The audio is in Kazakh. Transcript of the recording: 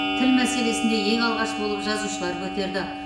тіл мәселесін де ең алғаш болып жазушылар көтерді